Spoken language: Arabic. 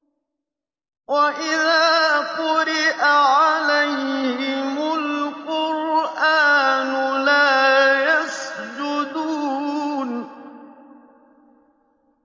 وَإِذَا قُرِئَ عَلَيْهِمُ الْقُرْآنُ لَا يَسْجُدُونَ ۩